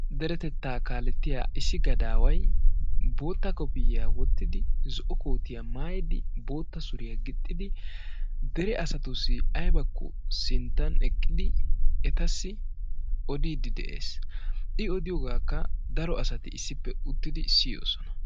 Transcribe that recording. derettettaa kalettiyaa issi gadaway bootta koopiyiyaa woottidi zo'o kootiyaa maayidi bootta suuriyaa giixxidi dere asatussi aybbaako sinttan eqqidi oddidi de'ees. i odiyoogakka daro asati issippe uttidi siiyoosona.